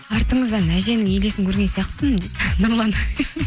артыңыздан әженің елесін көрген сияқтымын дейді нұрлан